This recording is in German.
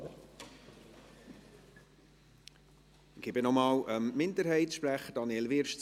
Ich gebe das Wort noch einmal dem Minderheitensprecher, Daniel Wyrsch.